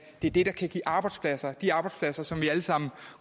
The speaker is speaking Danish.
det er det der kan give arbejdspladser de arbejdspladser som vi alle sammen